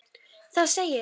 Það segir